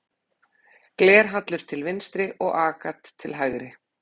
Glerhallur til vinstri og agat til hægri.